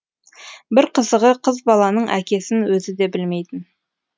бір қызығы қыз баланың әкесін өзі де білмейтін